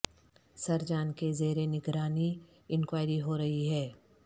سر جان کے زیر نگرانی انکوائری ہو رہی ہے